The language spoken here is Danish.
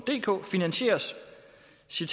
selv